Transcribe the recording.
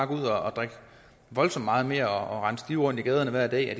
gå ud og drikke voldsomt meget mere og rende stive rundt i gaderne hver dag